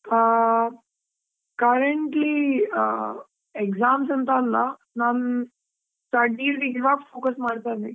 ಆ, currently ಆ exams ಅಂತಾ ಅಲ್ಲಾ, ನಾನ್ studies ಗ್ ಇವಾಗ್ focus ಮಾಡ್ತಾ ಇದ್ವಿ.